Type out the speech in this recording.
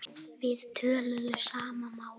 Við töluðum sama málið.